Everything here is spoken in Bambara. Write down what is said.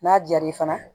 N'a diyar'i fana